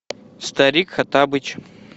старик хоттабыч